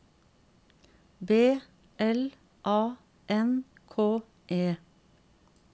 B L A N K E